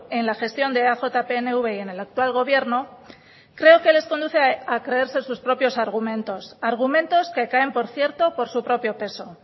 en la gestión de eaj pnv y en el actual gobierno creo que les conduce a creerse sus propios argumentos argumentos que caen por cierto por su propio peso